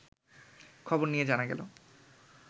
খবর নিয়ে জানা গেল